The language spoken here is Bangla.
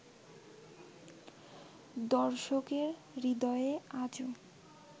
দর্শকের হৃদয়ে আজো